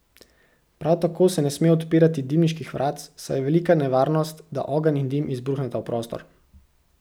Prav tako se ne sme odpirati dimniških vratc, saj je velika nevarnost, da ogenj in dim izbruhneta v prostor.